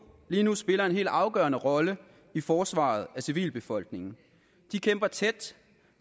lige nu spiller en helt afgørende rolle i forsvaret af civilbefolkningen de kæmper tæt